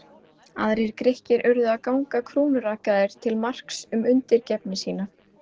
Aðrir Grikkir urðu að ganga krúnurakaðir til marks um undirgefni sína.